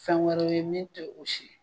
Fɛn wɛrɛw ye min te o si ye